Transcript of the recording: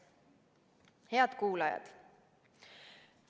Head kuulajad!